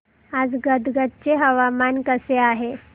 आज गदग चे हवामान कसे आहे